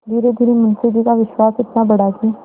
धीरेधीरे मुंशी जी का विश्वास इतना बढ़ा कि